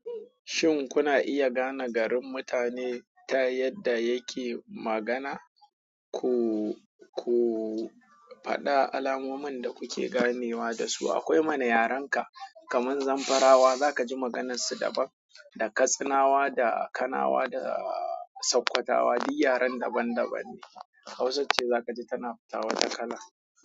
Shin kuna iya gane garin mutane ta yadda yake magana? Ku, ku faɗa alamomin da kuke ganewa da su. Akwai mana yarenka kamar Zamfara wa za ka ji maganarsu daban, da Katsinawa da Kanawa da Sakkwatawa duk yaren daban-daban ne. Hausa ce za ka ji tana fita wata kala.